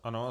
Ano.